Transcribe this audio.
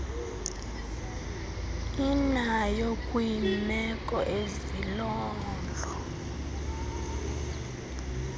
inayo kwiimeko ezilolo